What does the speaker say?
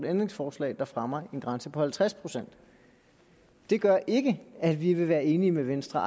ændringsforslag der fremmer en grænse på halvtreds procent det gør ikke at vi vil være enige med venstre